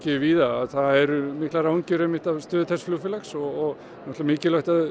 víða að það eru miklar áhyggjur af stöðu þessa flugfélags og það er mikilvægt að